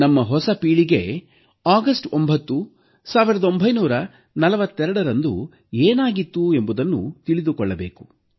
ನಮ್ಮ ಹೊಸ ಪೀಳಿಗೆ ಆಗಸ್ಟ್ 9 1942ರಂದು ಏನಾಗಿತ್ತು ಎಂಬುದನ್ನು ತಿಳಿದುಕೊಳ್ಳಬೇಕು